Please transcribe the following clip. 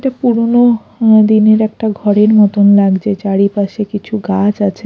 এটা পুরনো দিনের একটা ঘরের মতন লাগজে চারিপাশে কিছু গাছ আছে।